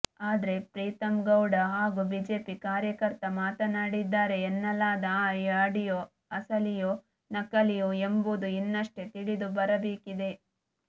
ಆದ್ರೆ ಪ್ರೀತಂಗೌಡ ಹಾಗೂ ಬಿಜೆಪಿ ಕಾರ್ಯಕರ್ತ ಮಾತಾಡಿದ್ದಾರೆ ಎನ್ನಲಾದ ಈ ಆಡಿಯೋ ಅಸಲಿಯೋ ನಕಲಿಯೋ ಎಂಬುದು ಇನ್ನಷ್ಟೇ ತಿಳಿದುಬರಬೇಕಿದೆ